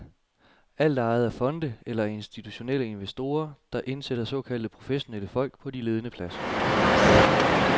Alt er ejet af fonde eller af institutionelle investorer, der indsætter såkaldte professionelle folk på de ledende pladser.